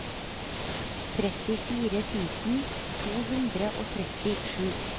trettifire tusen to hundre og trettisju